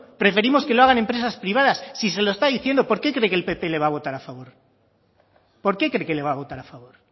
preferimos que lo hagan empresas privadas si se lo está diciendo por qué cree que el pp le va a votar a favor porque cree que le va a votar a favor